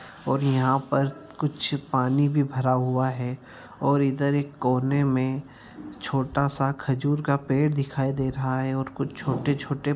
और यहाँ पर कुछ पानी भी भरा हुआ है और इधर एक कोने मे छोटा सा खजूर का पेड़ दिखाई दे रहा है और कुछ छोटे-छोटे --